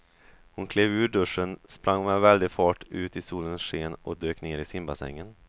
Hon klev ur duschen, sprang med väldig fart ut i solens sken och dök ner i simbassängen.